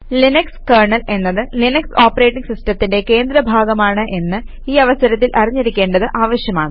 Linux kernel എന്നത് Linux operating സിസ്റ്റത്തിന്റെ കേന്ദ്ര ഭാഗമാണ് എന്ന് ഈ അവസരത്തിൽ അറിഞ്ഞിരിക്കേണ്ടത് ആവശ്യമാണ്